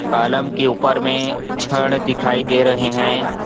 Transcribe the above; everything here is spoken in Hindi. कॉलम के ऊपर में छड़ दिखाई दे रहे हैं।